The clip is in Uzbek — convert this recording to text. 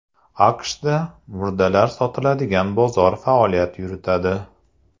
AQShda murdalar sotiladigan bozor faoliyat yuritadi.